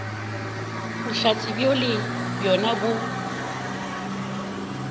bohlatse bjoo le bjona bo